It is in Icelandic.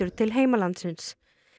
til heimalandsins